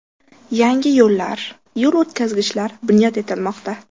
Yangi yo‘llar, yo‘l o‘tkazgichlar bunyod etilmoqda.